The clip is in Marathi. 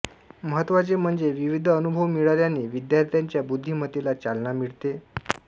महत्त्वाचे म्हणजे विविध अनुभव मिळाल्याने विध्यार्थ्यांच्या बुद्धिमत्तेला चालना मिळते